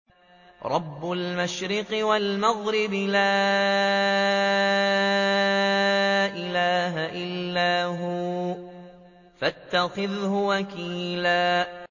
رَّبُّ الْمَشْرِقِ وَالْمَغْرِبِ لَا إِلَٰهَ إِلَّا هُوَ فَاتَّخِذْهُ وَكِيلًا